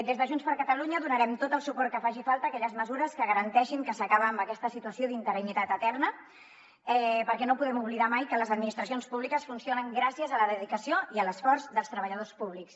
des de junts per catalunya donarem tot el suport que faci falta a aquelles mesures que garanteixin que s’acaba amb aquesta situació d’interinitat eterna perquè no podem oblidar mai que les administracions públiques funcionen gràcies a la dedicació i a l’esforç dels treballadors públics